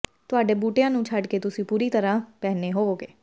ਤੁਹਾਡੇ ਬੂਟਿਆਂ ਨੂੰ ਛੱਡ ਕੇ ਤੁਸੀਂ ਪੂਰੀ ਤਰ੍ਹਾਂ ਪਹਿਨੇ ਹੋਵੋਗੇ